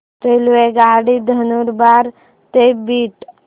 रेल्वेगाडी नंदुरबार ते बीड